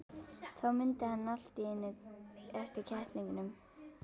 Þá mundi hann allt í einu eftir kettlingunum.